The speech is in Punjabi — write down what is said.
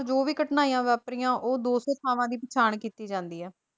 ਜੋ ਵੀ ਘਟਨਾਵਾਂ ਵਾਪਰੀਆਂ ਉਹ ਦੋ ਸੌ ਥਾਵਾਂ ਦੀ ਪਛਾਣ ਕੀਤੀ ਜਾਂਦੀ ਆ।